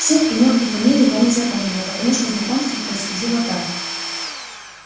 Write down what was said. всех имён и фамилий я не запомнила потому что знакомство происходило так